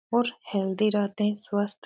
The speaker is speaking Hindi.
और हेल्थी रहते है। स्वस्थ --